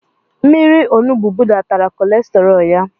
Mmírí onugbu budatara kolesterọl ya.